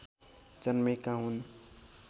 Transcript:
जन्मेका हुन्